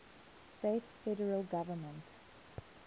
states federal government